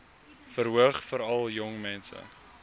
verhoog veral jongmense